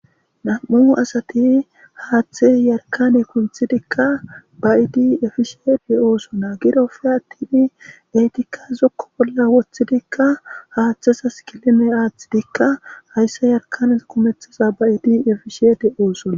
nam7u asati haaththe yarkane kunthidikka bayiidi efisheete oosona girofeatini eetikka zokko bolla woththidikka haaththesas kilime aathidikka hayssa yarkane kumethaza bayiidi efishiyete oosona